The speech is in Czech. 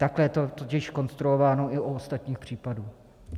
Takhle je to totiž konstruováno i u ostatních případů.